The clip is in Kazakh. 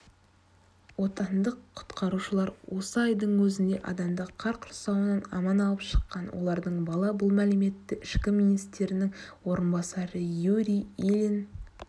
отандық құтқарушылар осы айдың өзінде адамды қар құрсауынан аман алып шыққан олардың бала бұл мәліметті ішкі істер министрінің орынбасары юрий ильин